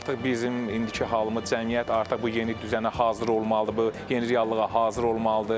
Artıq bizim indiki halımız cəmiyyət artıq bu yeni düzənə hazır olmalıdır, bu yeni reallığa hazır olmalıdır.